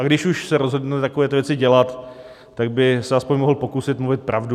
A když už se rozhodne takovéto věci dělat, tak by se aspoň mohl pokusit mluvit pravdu.